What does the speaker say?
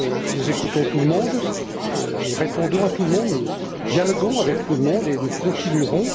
Nous écoutons tout le monde, nous répondons à tout le monde, nous dialoguons avec tout le monde et nous continuerons.